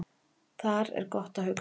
Þar er gott að hugsa